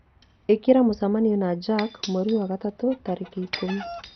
ĩkĩra mũcemanio na jack mweri wa gatatũ tarĩki ikũmi